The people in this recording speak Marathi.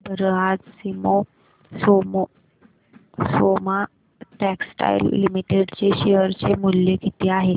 सांगा बरं आज सोमा टेक्सटाइल लिमिटेड चे शेअर चे मूल्य किती आहे